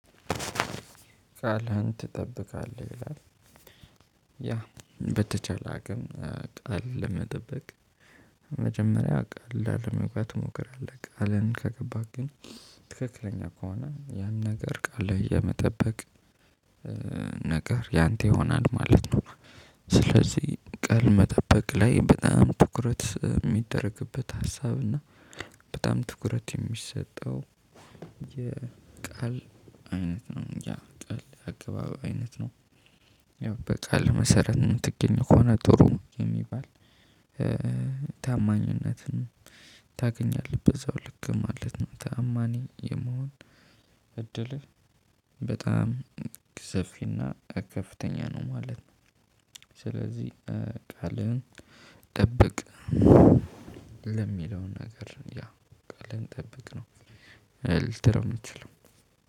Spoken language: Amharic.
ቃልህን ትጠብቃለህ ይላል። ያ በተቻለ አቅም ቃል ለመጠበቅ። መጀመሪያ ቃል ላለመግባት ትሞክራለህ ቃልን ከገባህ ግን ትክክለኛ ከሆነ ያን ነገር ቃልህን ለመጠበቅ። ነገር ያንተ ይሆናል ማለት ነው። ስለዚህ ቃል መጠበቅ ላይ በጣም ትኩረት እሚደረግበት ሀሳብ። በጣም ትኩረት የሚሰጠው የቃል አይነት ነው ያ ቃል አገባብ አይነት ነው። ያው በቃልህ መሰረት እምትገኝት ከሆነ ጥሩ የሚባል ታማኝነትን ታገኛለህ በዛው ልክ ማለት ነው። ታማኝ የመሆን እድልህ በጣም ሰፊና ከፍተኛ ነው ማለት ነው። ስለዚህ ቃልህን ጠብቅ። ለሚለው ነገር ያ ቃልህን ጠብቅ ነው። ልትለው እምትችለው